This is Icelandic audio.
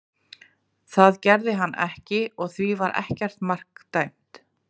Það gerði hann ekki og því var ekkert mark dæmt.